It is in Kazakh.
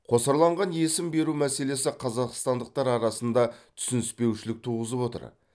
қосарланған есім беру мәселесі қазақстандықтар арасында түсініспеушілік туғызып отыр